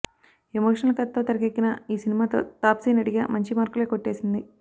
emotional కథతో తెరకెక్కిన ఈ సినిమాతో తాప్సీ నటిగా మంచి మార్కులే కొట్టేసింది